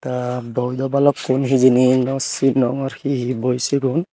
taa boi dw balukkun hijeni nw sinongor hihi boi sigun.